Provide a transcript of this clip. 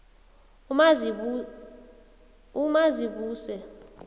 umazibuse